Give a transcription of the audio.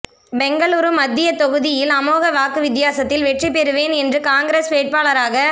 பெங்களூரு மத்திய தொகுதியில் அமோக வாக்கு வித்தியாத்தில் வெற்றி பெறுவேன் என்று காங்கிரஸ் வேட்பாளராக